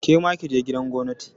Kema kije gidan gwamnati!